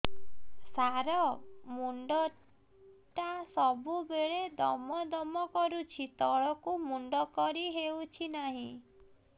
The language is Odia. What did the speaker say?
ସାର ମୁଣ୍ଡ ଟା ସବୁ ବେଳେ ଦମ ଦମ କରୁଛି ତଳକୁ ମୁଣ୍ଡ କରି ହେଉଛି ନାହିଁ